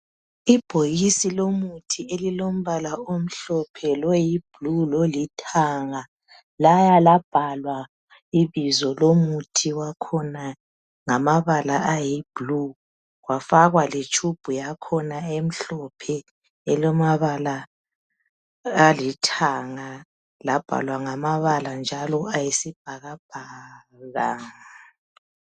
Ibhokisi lomuthi elilombala omhlophe loyibhulu lolithanga laya labhalwa ibizo lomuthi wakhona ngamabala ayibhulu kwafakwa letube yakhona emhlophe elamabala alithanga labhalwa ngamabala njalo ayisibhakabhaka.